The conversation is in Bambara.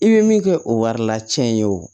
I bɛ min kɛ o wari lacɛn ye o